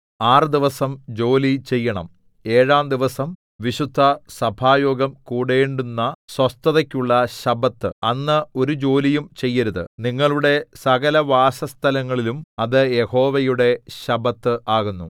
ആറ് ദിവസം ജോലി ചെയ്യണം ഏഴാം ദിവസം വിശുദ്ധസഭായോഗം കൂടേണ്ടുന്ന സ്വസ്ഥതയ്ക്കുള്ള ശബ്ബത്ത് അന്ന് ഒരു ജോലിയും ചെയ്യരുത് നിങ്ങളുടെ സകലവാസസ്ഥലങ്ങളിലും അത് യഹോവയുടെ ശബ്ബത്ത് ആകുന്നു